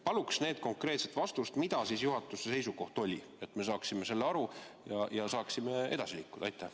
Palun konkreetset vastust, milline juhatuse seisukoht oli, et me saaksime sellest aru ja saaksime edasi liikuda!